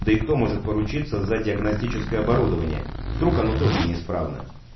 да и кто может поручиться за диагностическое оборудование вдруг оно тоже неисправно